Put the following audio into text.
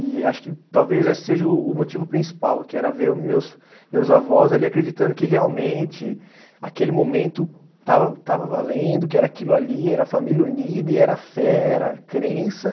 E acho que talvez esse seja o o motivo principal, que era ver o meus, meus avós ali acreditando que realmente aquele momento estava estava valendo, que era aquilo ali, era família unida, e era fé, era crença.